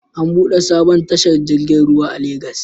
An buɗe sabon tashar jirgin ruwa a Legas